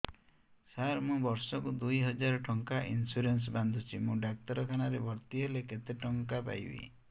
ସାର ମୁ ବର୍ଷ କୁ ଦୁଇ ହଜାର ଟଙ୍କା ଇନ୍ସୁରେନ୍ସ ବାନ୍ଧୁଛି ମୁ ଡାକ୍ତରଖାନା ରେ ଭର୍ତ୍ତିହେଲେ କେତେଟଙ୍କା ପାଇବି